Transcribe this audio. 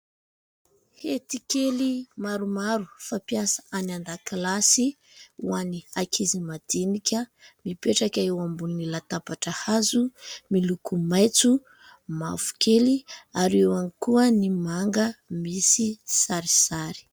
Hety kely maromaro, fampiasa any an-dakilasy, ho an'ny akizy madinika, mipetraka eo ambony latabatra hazo ; miloko maitso, mavokely, ary eo ihany koa ny manga misy sarisary.